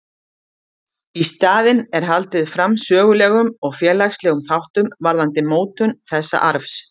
Í staðinn er haldið fram sögulegum og félagslegum þáttum varðandi mótun þessa arfs.